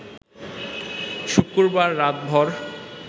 শুক্রবার রাতভর